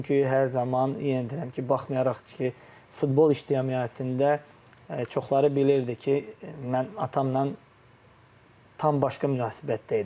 Çünki hər zaman yenə deyirəm ki, baxmayaraq ki, futbol ictimaiyyətində çoxları bilirdi ki, mən atamla tam başqa münasibətdə idim.